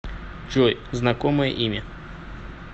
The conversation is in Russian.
джой знакомое имя